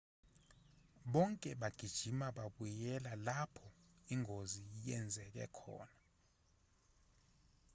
bonke bagijima babuyela lapho ingozi yenzeke khona